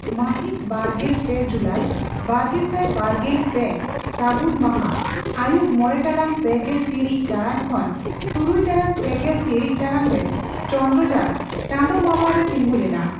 ᱢᱟᱦᱤᱛ ᱵᱟᱨᱜᱮᱞ ᱯᱮ ᱡᱩᱞᱟᱹᱭ ᱵᱟᱨᱜᱮᱥᱟᱭ ᱵᱟᱨᱜᱮᱞ ᱯᱮ ᱥᱟᱹᱜᱩᱱ ᱢᱟᱦᱟ ᱟᱹᱭᱩᱵ ᱢᱚᱲᱮ ᱴᱟᱲᱟᱝ ᱯᱮᱜᱮᱞ ᱴᱤᱲᱤᱪ ᱴᱟᱲᱟᱝ ᱠᱷᱚᱱ ᱛᱩᱨᱩᱭ ᱴᱟᱲᱟᱝ ᱯᱮᱜᱮᱞ ᱴᱤᱲᱤᱪ ᱴᱟᱲᱟᱝ ᱨᱮ ᱪᱚᱱᱫᱽᱨᱚᱡᱟᱱ ᱪᱟᱸᱫᱚ ᱢᱟᱢᱚ ᱨᱮ ᱛᱤᱸᱜᱩ ᱞᱮᱱᱟ ᱾